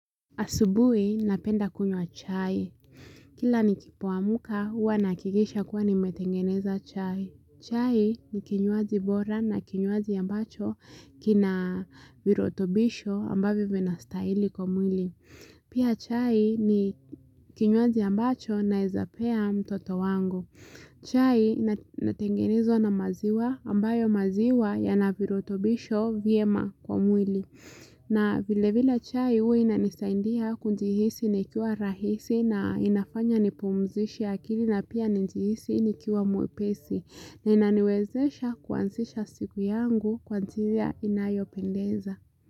Asubuhi napenda kunywa chai. Kila nikipoamka huwa nahakikisha kuwa nimetengeneza chai. Chai ni kinywaji bora na kinywaji ambacho kina virutobisho ambavyo vinastahili kwa mwili. Pia chai ni kinywaji ambacho naezapea mtoto wangu. Chai inatengenezwa na maziwa ambayo maziwa yana virutobisho vyema kwa mwili. Na vile vile chai hua inanisaidia kujihisi nikiwa rahisi na inafanya nipumzishe akili na pia nijihisi nikiwa mwepesi ininaniwezesha kuanzisha siku yangu kwa njia inayopendeza.